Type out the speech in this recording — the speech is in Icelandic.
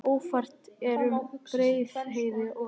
Ófært er um Breiðdalsheiði og Öxi